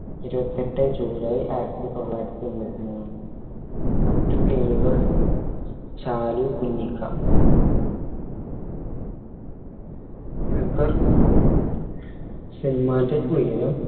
ഇരുവത്തെട്ടെ July ആയിരത്തി തൊള്ളായിരത്തി എമ്പത്തി മൂന്ന് മറ്റ് പേരുകൾ ചാലു കുഞ്ഞിക്ക ദുൽഖർ സൽമാൻറെ ഉയരം